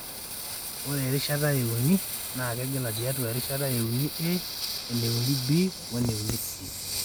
ore erishata euni (III) na kegela tiatua irishat IIIA, IIIB,o,IIIC.